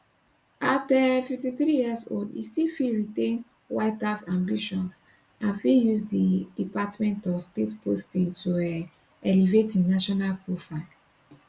at um 53 years old e still fit retain white house ambitions and fit use di department of state posting to um elevate im national profile